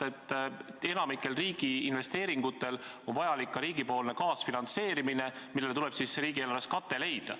Enamiku investeeringute puhul on vajalik ka riigi kaasfinantseerimine ja selleks tuleb riigieelarves kate leida.